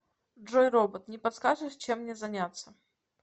джой робот не подскажешь чем мне заняться